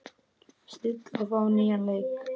Stulla það á nýjan leik.